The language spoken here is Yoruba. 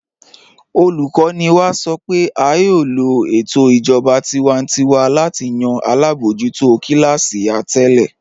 Olùkọ́ni wá sọ́ pé á yóò lọ̀ ètò ìjọba tìwántíwà láti yàn alábojútò kílásí àtẹ̀lẹ̀.